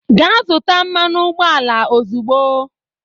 Gaa zụta mmanụ ụgbọala ozugbo!